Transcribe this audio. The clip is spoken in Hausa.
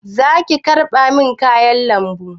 Zaki markaɗa min kayan lambu?